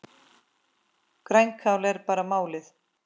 Grænkál er bara málið!